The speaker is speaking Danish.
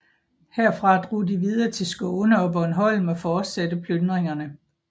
Herfra drog de videre til Skåne og Bornholm og fortsatte plyndringerne